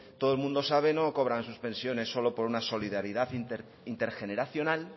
todo el mundo sabe no cobran sus pensiones solo por una solidaridad intergeneracional